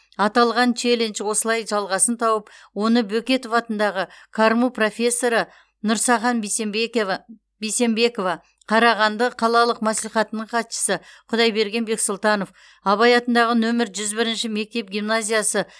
аталған челлендж осылай жалғасын тауып оны бөкетов атындағы қарму профессоры нұрсахан бейсенбекова қарағанды қалалық мәслихатының хатшысы құдайберген бексұлтанов абай атындағы нөмер жүз бірінші мектеп гимназиясы